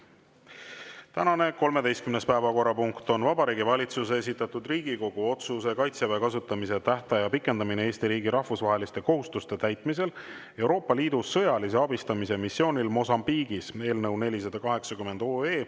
Tänane 13. päevakorrapunkt on Vabariigi Valitsuse esitatud Riigikogu otsuse "Kaitseväe kasutamise tähtaja pikendamine Eesti riigi rahvusvaheliste kohustuste täitmisel Euroopa Liidu sõjalise abistamise missioonil Mosambiigis" eelnõu 480.